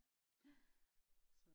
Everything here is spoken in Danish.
ja